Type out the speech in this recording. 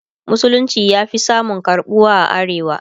musulunci ya Fi samun karɓuwa a arewa